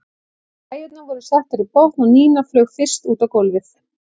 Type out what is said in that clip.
Græjurnar voru settar í botn og Nína flaug fyrst út á gólfið.